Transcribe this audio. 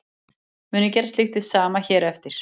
Mun ég gera slíkt hið sama hér á eftir.